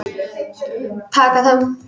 Taka þá!